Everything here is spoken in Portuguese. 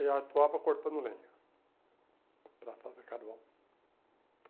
Ele atuava cortando lenha, para fazer carvão.